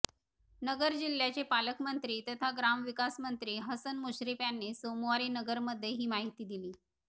नगर जिल्ह्याचे पालकमंत्री तथा ग्रामविकासमंत्री हसन मुश्रीफ यांनी सोमवारी नगरमध्ये ही माहिती दिली